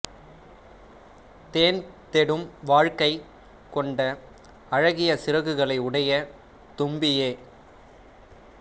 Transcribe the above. தேன் தேடும் வாழ்க்கைக் கொண்ட அழகிய சிறகுகளை உடைய தும்பியே